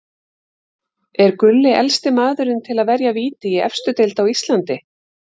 Er Gulli elsti maðurinn til að verja víti í efstu deild á Íslandi?